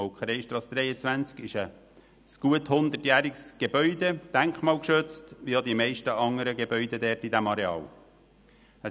Das Gebäude an der Molkereistrasse 23 ist gut 100-jährig und wie die meisten anderen Gebäude auf diesem Areal denkmalgeschützt.